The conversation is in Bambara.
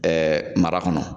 Ɛɛ mara kɔnɔ